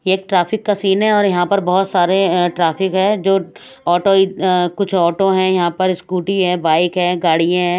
एक ट्रैफिक का सीन है और यहां पर बहोत अ सारे ट्रैफिक है जो ऑटो अ कुछ ऑटो है यहां पर स्कूटी है बाइक है गाड़ीया है।